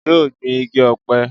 yóò gbin igi ọ̀pẹ